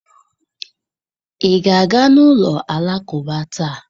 Ị ga-aga n'ụlọ Alakụba taa?